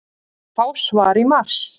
Fá svar í mars